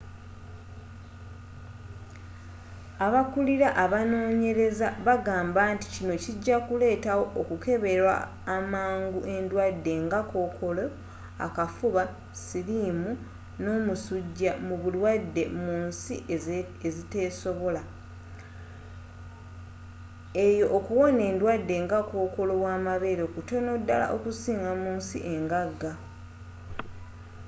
abakulira abanoonyereza bagamba nti kino kijakuleetawo okukeberwa amangu endwadde nga kookolo akafuba sirimu n'omusuja mu balwadde munsi eziteesobola eyo okuwona endwadde nga kokoolo wamabeere kutono ddala okusinga munsi engaga